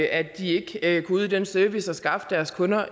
at de ikke kunne yde den service at skaffe deres kunder